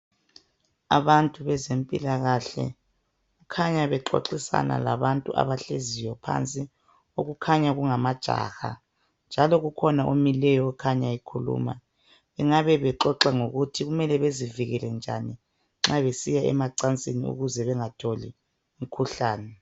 Abantu bezempilakahle kukhanya bexoxisana labantu abahleziyo phansi okukhanya kungamajaha njalo kukhona omileyo okhanya ekhuluma. Bengabe bexoxa ngokuthi kumele bezivikele njani nxa besiya emacansini ukuze bengatholi imkhuhlane.